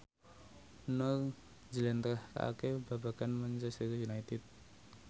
Nur njlentrehake babagan Manchester united